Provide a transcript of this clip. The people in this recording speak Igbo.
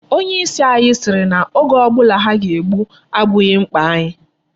Onye isi anyị sịrị na oge ọ bụla ha ga-egbu abụghị mkpa anyị.